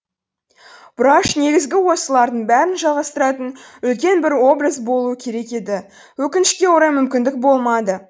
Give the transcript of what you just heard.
бұраш негізгі осылардың бәрін жалғастыратын үлкен бір образ болуы керек еді өкінішке орай мүмкіндік болмады